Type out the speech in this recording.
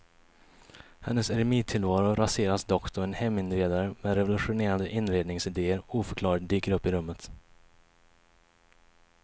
Hennes eremittillvaro raseras dock då en heminredare med revolutionerande inredningsidéer oförklarligt dyker upp i rummet.